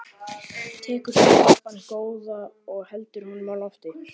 Tekur svo lampann góða og heldur honum á lofti.